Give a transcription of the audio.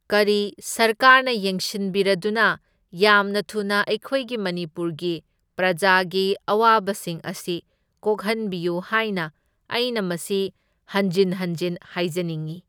ꯀꯔꯤ ꯁꯔꯀꯥꯔꯅ ꯌꯦꯡꯁꯤꯟꯕꯤꯔꯗꯨꯅ ꯌꯥꯝꯅ ꯊꯨꯅ ꯑꯩꯈꯣꯏꯒꯤ ꯃꯅꯤꯄꯨꯔꯒꯤ ꯄ꯭ꯔꯖꯥꯒꯤ ꯑꯋꯥꯕꯁꯤꯡ ꯑꯁꯤ ꯀꯣꯛꯍꯟꯕꯤꯌꯨ ꯍꯥꯏꯅ ꯑꯩꯅ ꯃꯁꯤ ꯍꯟꯖꯤꯟ ꯍꯟꯖꯤꯟ ꯍꯥꯏꯖꯅꯤꯡꯏ꯫